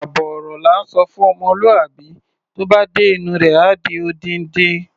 Àbọ̀ ọ̀rọ̀ la ńsọ fún ọmọlúwàbí, tó bá dé inú u rẹ̀, á di odindi.